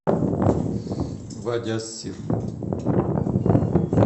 вади ас сир